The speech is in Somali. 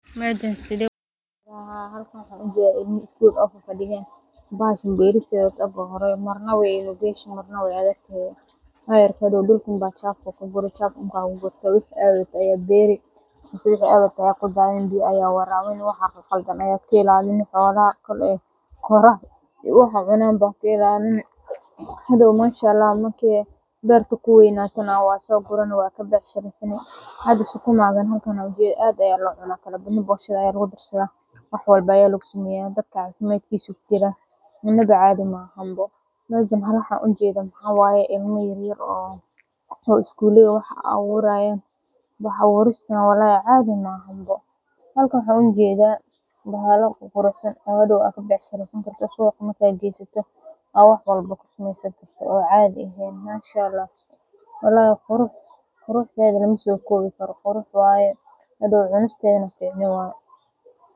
Waxan halka ujeeda bahashan beeristeeda aad ayey ufududahay, sukumaga aad aya lo cuna, mejan waxan ujeda ilma isguley ah oo dulka wax kuberayan, hadow cunisteedana nasasho waye.